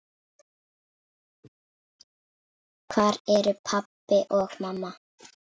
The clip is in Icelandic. Hvar eru pabbi og mamma?